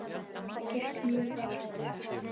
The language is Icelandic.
Það gekk mjög vel hjá mér.